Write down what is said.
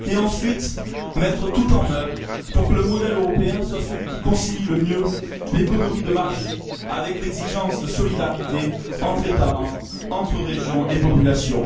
Ensuite, mettre tout en œuvre pour que le modèle européen soit celui qui concilie le mieux l'économie de marché avec l'exigence de solidarité entre États membres, entre régions et populations.